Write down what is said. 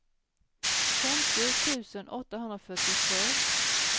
femtio tusen åttahundrafyrtiotvå